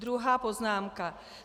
Druhá poznámka.